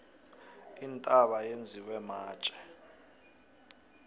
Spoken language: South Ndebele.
intaba yenziwe matje